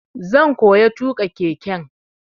Zan koya tuƙa keke.